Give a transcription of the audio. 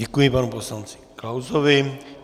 Děkuji panu poslanci Klausovi.